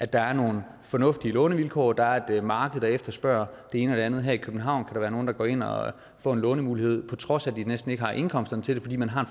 der er nogle fornuftige lånevilkår og der er et marked der efterspørger det ene og det andet her i københavn kan der være nogen der går ind og får en lånemulighed på trods af at de næsten ikke har indkomsterne til det fordi man har